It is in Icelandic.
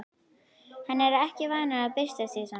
Hann er ekki vanur að byrsta sig svona.